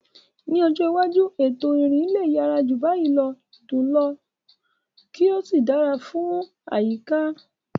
Ní ọjọ́ iwájú, ètò ìrìn lè yára jù báyìí lọ, dùn ún lò, kí ó sì dára fún àyíká.